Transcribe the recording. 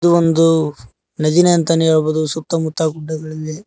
ಒಂದು ನದಿನೇ ಅಂತನೆ ಹೇಳ್ಬಹುದು ಸುತ್ತಮುತ್ತ ಗುಡ್ಡಗಳಿವೆ.